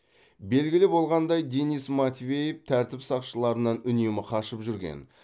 белгілі болғандай денис матвеев тәртіп сақшыларынан үнемі қашып жүрген